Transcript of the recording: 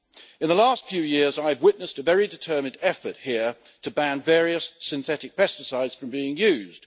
In the last few years, I've witnessed a very determined effort here to ban various synthetic pesticides from being used.